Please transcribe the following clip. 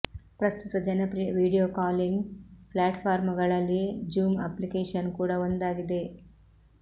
ಪ್ರಸ್ತುತ ಜನಪ್ರಿಯ video calling platform ಗಳಲ್ಲಿ ಜೂಮ್ ಅಪ್ಲಿಕೇಶನ್ ಕೂಡ ಒಂದಾಗಿದೆ